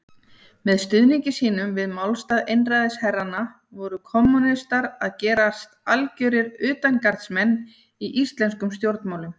Með stuðningi sínum við málstað einræðisherranna voru kommúnistar að gerast algjörir utangarðsmenn í íslenskum stjórnmálum.